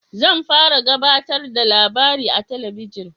Zan fara gabatarda da labari a talabijin